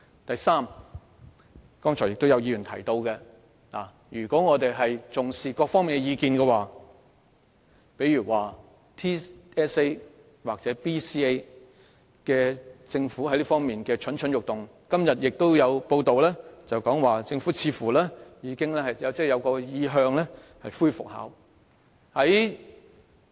第三，剛才亦有議員提到我們應重視各方面的意見，例如政府似乎對全港性系統評估或基本能力評估蠢蠢欲動，今天亦有報道指政府似乎有意復考。